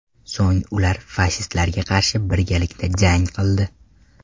So‘ng ular fashistlarga qarshi birgalikda jang qildi.